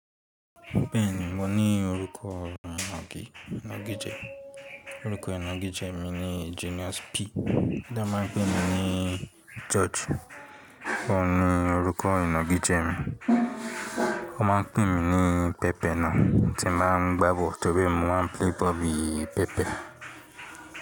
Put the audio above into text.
Bẹ́ẹ̀ni, mo ní orúkọ ìnàgijẹ. Orúkọ ìnàgijẹ mi ni Genius P. Kíìní wọ́n máa ń pè mi ní George. Kò ní orúkọ ìnàgijẹ mi. Wọ́n máa ń pè mí ní pẹpẹ náà tí ń máa ń gbàbọ̀ nítorí mo máa ń play bọ́ọ̀lù pẹpẹ.